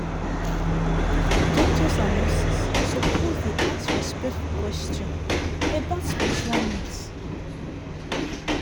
doctors and nurses suppose dey ask respectful question about spiritual needs."